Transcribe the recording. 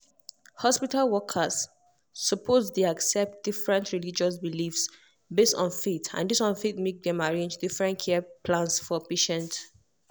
hospital workers suppose um accept different religious beliefs based on faith and this one fit make dem arrange different care plans for patient.